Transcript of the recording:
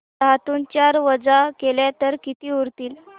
दहातून चार वजा केले तर किती उरतील